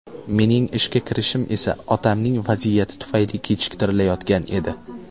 Mening ishga kirishim esa otamning vaziyati tufayli kechiktirilayotgan edi.